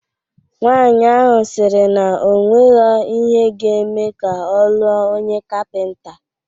Nwaanyi ahụ sịrị na onwegho ihe ga-eme ka ọ lụọ onye kapịnta